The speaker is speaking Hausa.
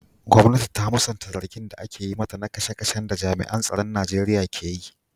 Gwamnati ta musanta zargin da ake yi mata na kashe-kashen da jami'an tsaron Najeriya ke yi.